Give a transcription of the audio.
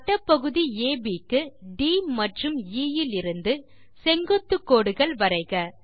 வட்டப்பகுதி AB க்கு D மற்றும் E இலிருந்து செங்குத்து கோடுகள் வரைக